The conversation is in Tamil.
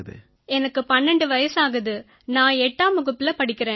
எனக்கு 12 வயசாகுது நான் 8ஆம் வகுப்புல படிக்கறேன்